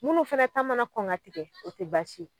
Minnu fɛnɛ ta mana kɔn ka tigɛ o tɛ ye.